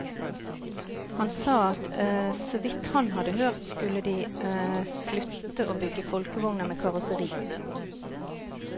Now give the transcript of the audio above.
Han sa at så vidt han hadde hørt skulle de slutte å bygge Folkevogner med karosseri.